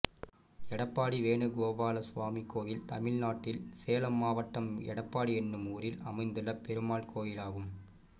எடப்பாடி வேணுகோபாலசுவாமி கோயில் தமிழ்நாட்டில் சேலம் மாவட்டம் எடப்பாடி என்னும் ஊரில் அமைந்துள்ள பெருமாள் கோயிலாகும்